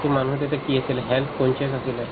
এইটো মানুহে তেতিয়া কি আছিলে health conscious আছিলে